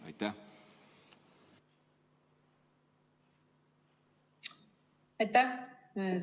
Aitäh!